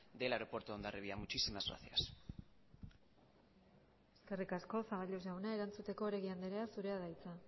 del aeropuerto de hondarribia muchísimas gracias eskerrik asko zaballos jauna erantzuteko oregi andrea zurea da hitza